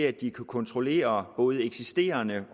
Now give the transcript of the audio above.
at kunne kontrollere både eksisterende